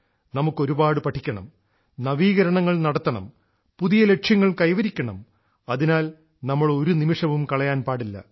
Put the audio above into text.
നമുക്ക് ഒരുപാട് പഠിക്കണം നവീകരണങ്ങൾ നടത്തണം പുതിയ ലക്ഷ്യങ്ങൾ കൈവരിക്കണം അതിനാൽ നാം ഒരു നിമിഷവും കളയാൻ പാടില്ല